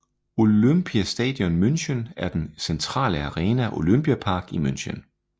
Olympiastadion München er den centrale arena i Olympiapark i München